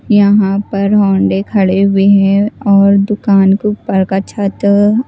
यहाँ पर होंडे खड़े हुए हैं और दुकान के ऊपर का छत --